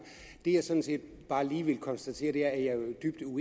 det jeg sådan set bare lige vil konstatere er at